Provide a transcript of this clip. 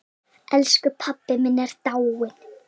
Elsku pabbi minn er dáinn!